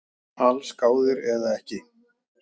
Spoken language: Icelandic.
Allsgáðir eða ekki